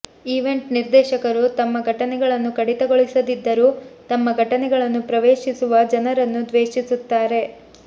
event ನಿರ್ದೇಶಕರು ತಮ್ಮ ಘಟನೆಗಳನ್ನು ಕಡಿತಗೊಳಿಸದಿದ್ದರೂ ತಮ್ಮ ಘಟನೆಗಳನ್ನು ಪ್ರವೇಶಿಸುವ ಜನರನ್ನು ದ್ವೇಷಿಸುತ್ತಾರೆ